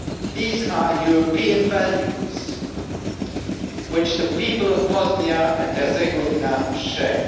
These are European values which the people of Bosnia and Herzegovina share.